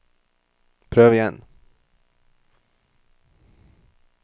prøv igjen